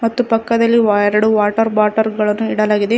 ಮತ್ತು ಪಕ್ಕದಲ್ಲಿ ವ್ಯಾರ್ ಎರಡು ವಾಟರ್ ಬೊಟಲ್ ಗಳನ್ನ ಇಡಲಾಗಿದೆ ಇನ್ --